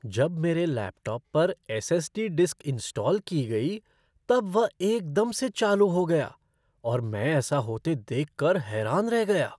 जब मेरे लैपटॉप पर एस.एस.डी. डिस्क इंस्टॉल की गई तब वह एकदम से चालू हो गया और मैं ऐसा होते देख कर हैरान रह गया।